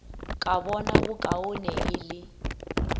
ka bona bokaone e le